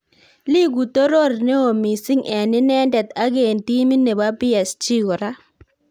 Iigu toror neo mising en inendet, ak en timit nebo PSG kora